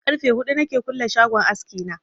Karfe huɗu na ke kulle shagon aski na